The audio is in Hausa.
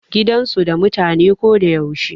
Gidan su da mutane ko da yaushe.